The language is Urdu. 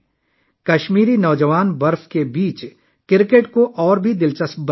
کشمیری نوجوانوں نے برف میں کرکٹ کو مزید حیرت انگیز بنا دیا